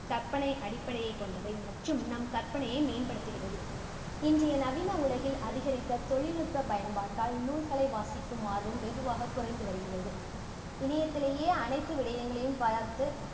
கற்பனை அடிப்படையை கொண்டவை மற்றும் நம் கற்பனையை மேம்படுத்துகிறது இன்றைய நவீன உலகில் அதிகரித்த தொழில்நுட்ப பயன்பாட்டால் நூல்களை வாசிக்கும் ஆர்வம் வெகுவாகக் குறைந்து வருகிறது. இணையத்திலேயே அனைத்து விடயங்களும் பார்த்து